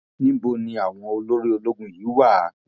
níbo ni àwọn olórí ológun yìí wà